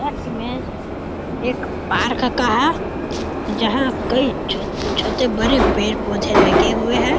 यह इमेज एक पार्क का है जहाँ कहीं छोटे-छोटे बड़े पेड़ पौधे लगे हुए हैं।